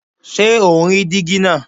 Ṣé o ń rí díígí náà?